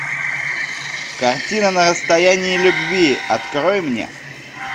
картина на расстоянии любви открой мне